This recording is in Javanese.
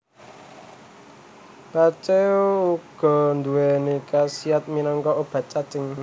Pacé uga nduwèni kasiyat minangka obat cacing